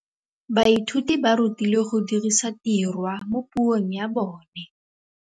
Baithuti ba rutilwe go dirisa tirwa mo puong ya bone.